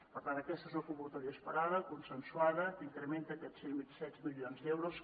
per tant aquesta és una convocatòria esperada consensuada que incrementa aquests setze milions d’euros